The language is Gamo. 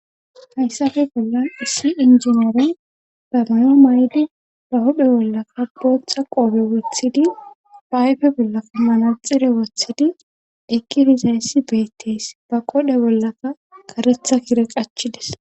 Hayssafe bollan issi injineore damayo maydi ba hudhe bollaka booththa qoobe wothidi payfe bolla pumanaxire wothidi ekkirizayssi beettees ba qodhe bollaka karetha kire qachides.